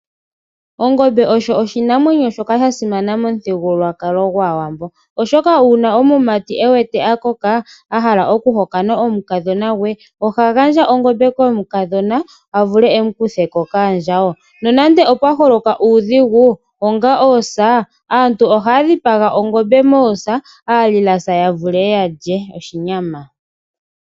Ongombe osho oshinamwenyo shoka sha simana momuthigululwakalo gwAawambo oshoka uuna omumati e wete a koka, a hala okuhokana omukadhona gwe, oha gandja ongombe komukadhona a vule e mu kutheko kaandjawo. Nonande opwa holoka uudhigu onga oosa, antu ohaya dhipaga ongombe moosa. Aalilasa ya vule ya lye oshinyama.